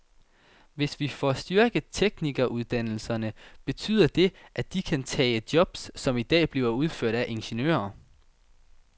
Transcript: Hvis vi får styrket teknikeruddannelserne, betyder det, at de kan tage job, som i dag bliver udført af ingeniører.